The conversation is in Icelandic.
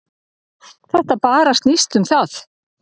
Þetta bara snýst um það.